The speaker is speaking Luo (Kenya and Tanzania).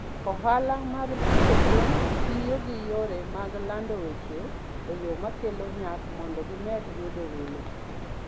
Ohala mag pidho gwen tiyo gi yore mag lando weche e yo makelo nyak mondo gimed yudo welo.